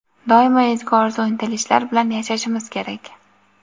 doimo ezgu orzu-intilishlar bilan yashashimiz kerak.